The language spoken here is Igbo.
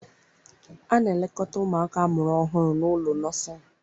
A na-elekọta ụmụaka amụrụ ọhụrụ n'ụlọ nọsịn.